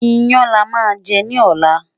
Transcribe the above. iyán là má jè ní ọlá